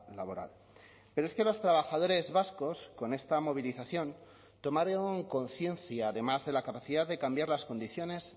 laboral pero es que los trabajadores vascos con esta movilización tomaron conciencia además de la capacidad de cambiar las condiciones